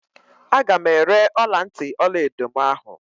Aga m ere ọlantị ọlaedo mụ ahụ.